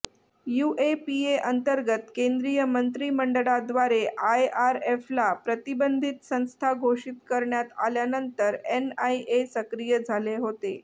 UAPA अंतर्गत केंद्रीय मंत्रिमंडळाद्वारे आयआरएफला प्रतिबंधित संस्था घोषित करण्यात आल्यानंतर एनआयए सक्रीय झाले होते